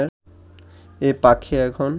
এ পাখি এখন